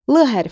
L hərfi.